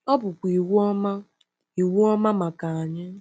Ọ bụkwa iwu ọma iwu ọma maka anyị.